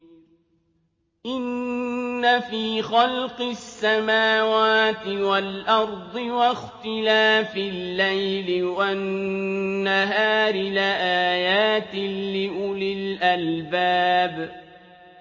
إِنَّ فِي خَلْقِ السَّمَاوَاتِ وَالْأَرْضِ وَاخْتِلَافِ اللَّيْلِ وَالنَّهَارِ لَآيَاتٍ لِّأُولِي الْأَلْبَابِ